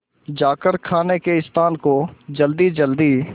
जाकर खाने के स्थान को जल्दीजल्दी